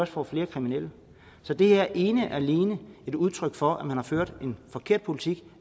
får flere kriminelle så det her er ene og alene et udtryk for at man har ført en forkert politik